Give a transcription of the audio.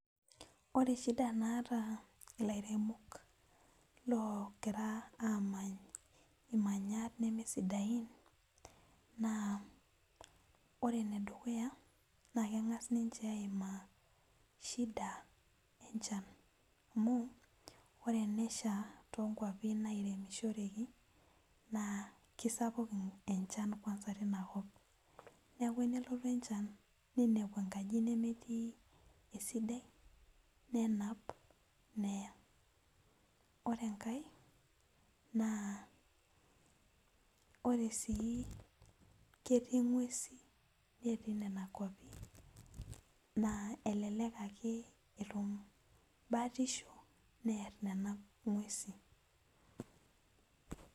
Ore shida naata lairemok logira amanu imanyat nemesidain ore enedukuya na kengasa ninche aima nyamalitin enchan amu nairemishorekibna kesapuk kwanza encha tinakop neaku enelotu encha ninepu enkaji neitashe esidai neya ore enkae na ore si ketii ngwesi natii nona kwapi na elelek ake etum batisho near nona ngweusi